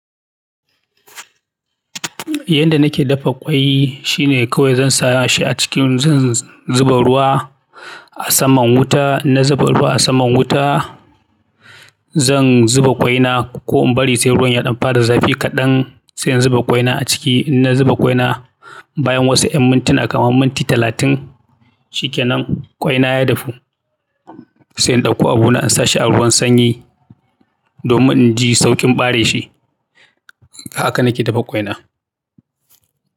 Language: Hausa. Yanda nake dafa ƙwai shine kawai zan sa shi a cikin, zan zuba ruwa a saman wuta. Na zuba ruwa a saman wuta, zan zuba ƙwaina ko in bari sai ruwan ya ɗan fara zafi kaɗan sai in zuba ƙwaina a ciki. In na zuba ƙwaina, bayan wasu en mintuna kamar minti talatin shikenan ƙwaina ya dafu sai in ɗauko abu na in sa shi a ruwan sanyi domin in ji saukin ɓare shi. Haka nake dafa ƙwaina.